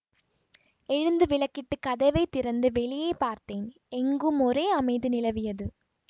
எழுந்து விளக்கிட்டுக் கதவை திறந்து வெளியே பார்த்தேன் எங்கும் ஒரே அமைதி நிலவியது